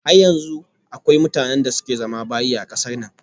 Har yanzu akwai mutanen da suke zama bayi a kasar nan